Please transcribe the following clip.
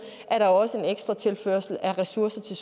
er der også en ekstra tilførsel af ressourcer til